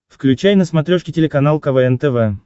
включай на смотрешке телеканал квн тв